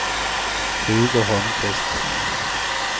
Hugo Holmqvist